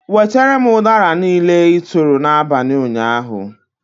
Wetere m udara niile, ị tụụrụ n'abalị ụnyaahụ!